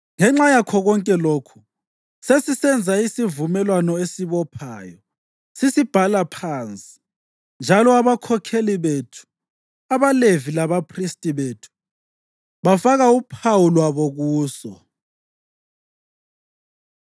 “Ngenxa yakho konke lokhu, sesisenza isivumelwano esibophayo, sisibhala phansi, njalo abakhokheli bethu, abaLevi labaphristi bethu bafaka uphawu lwabo kuso.”